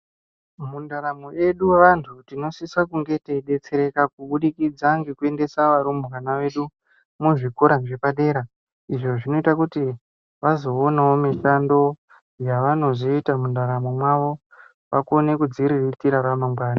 Mundaramo edu vantu, tinosisa kunge teyidetsereka kubudikidza ngekuendesa varumbwana vedu muzvikora zvepadera, izvo zvinoyita kuti vazoonawo mishando yavanozoyita mundaramo mwavo vakone kudziriritira ramangwani.